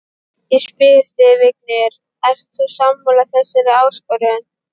Ég spyr þig, Vignir, ert þú sammála þessari áskorun?